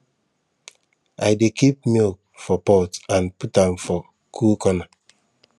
i dey keep milk for pot and put am for cool corner